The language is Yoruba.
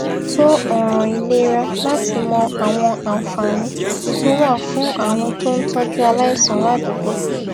tó òràn ìlera láti mọ àwọn àǹfààní tó wà fún àwọn tó ń tójú aláìsàn ládùúgbò